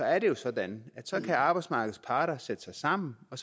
er det jo sådan at arbejdsmarkedets parter kan sætte sig sammen og